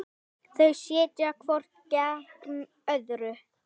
Þau sitja hvort gegnt öðru.